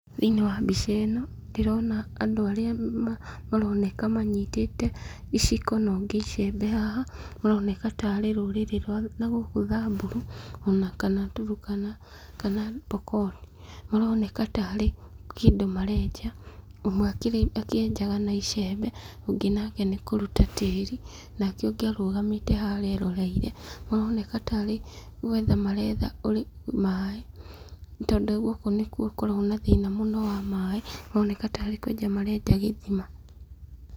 Thĩinĩ wa mbica ĩno, ndĩrona andu arĩa maroneka manyitĩte iciko na ũngĩ icembe haha, ũroneka tarĩ rũrĩrĩ rwa na gũkũ Thamburu o na kana Turukana, kana Pokot. Maroneka tarĩ kĩndũ marenja ũmwe akĩenjaga na icembe ũngĩ nake nĩ kũruta tĩri nake ũngĩ arugamĩte harĩa eroreire maroneka tarĩ gũetha maretha maaĩ, tondũ gũkũ nĩkwo gũkoragwo na thĩna mũno wa maaĩ. Maroneka tarĩ kũenja marenja gĩthima.